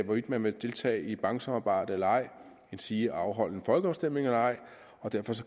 hvorvidt man vil deltage i et banksamarbejde eller ej endsige afholde en folkeafstemning eller ej og derfor